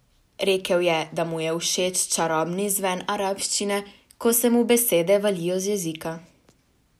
Rekel je, da mu je všeč čarobni zven arabščine, ko se mu besede valijo z jezika.